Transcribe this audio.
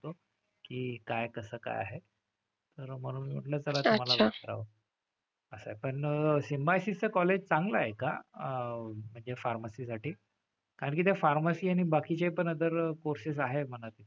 की काय कसं काय आहे. आणि म्हणून मी म्हंटलं चला तुम्हाला विचारावं. असं आहे पण सिम्बायोसिसचं college चांगलं आहे का? अह म्हणजे pharmacy साठी? कारण की ते pharmacy आणि बाकीचे पण other courses आहेत म्हणत होते.